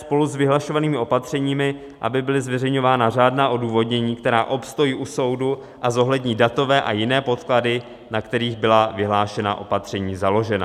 Spolu s vyhlašovanými opatřeními, aby byly zveřejňována řádná odůvodnění, která obstojí u soudu a zohlední datové a jiné podklady, na kterých byla vyhlášená opatření založena.